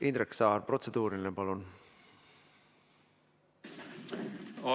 Indrek Saar, protseduuriline, palun!